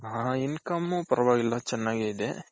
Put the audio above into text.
ಹ income ಪರವಾಗಿಲ್ಲ ಚೆನ್ನಾಗೆ ಇದೆ.